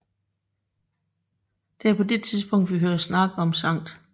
Det er på det tidspunkt vi hører snak om St